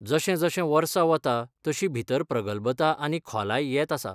जशें जशें वर्सा वता तशी भितर प्रगलभता आनी खोलाय येत आसा.